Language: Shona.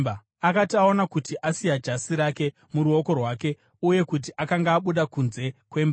Akati aona kuti asiya jasi rake muruoko rwake uye kuti akanga abuda kunze kwemba,